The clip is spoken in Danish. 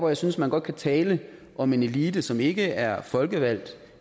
jeg synes man godt kan tale om en elite som ikke er folkevalgt